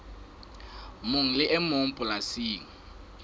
mong le e mong polasing